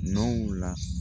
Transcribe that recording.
Nɔw la